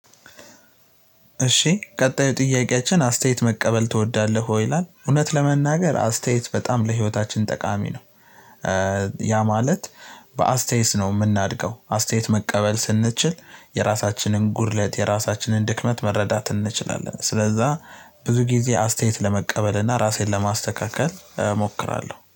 እሺ ቀጣዩ ጥያቄያችን አስተያየት መቀበል ትወዳለህ ይላል እውነት ለመናገር አስተያየት በጣም ለህይወታችን ጠቃሚ ነው። ያ ማለት በአስተያየት ነው የምናድገው አስተያየት መቀበል ስንችል የራሳችንን ጉድለት የራሳችንን ድክመት መረዳት እንችላለን። ስለዛ ብዙ ጊዜ አስተያየት ለመቀበል እና ራሴን ለማስተካከል እሞክራለሁ